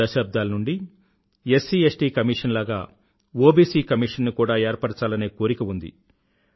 దశాబ్దాల నుండీ SCST commission లాగ ఒబిసి కమీషన్ ని కూడా ఏర్పరచాలనే కోరిక ఉంది